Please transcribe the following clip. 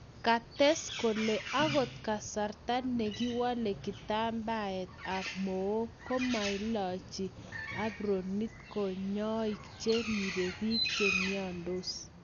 Kates kole akot kasarta nekiwole kitambaet ab mook komailach apronit konyoik che ribe bik che miandos.